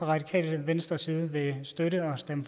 radikale venstres side vil støtte og stemme